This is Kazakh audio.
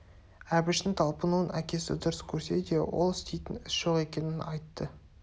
әбіштің талпынуын әкесі дұрыс көрсе де ол істейтін іс жоқ екенін айтты